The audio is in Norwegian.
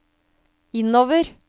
innover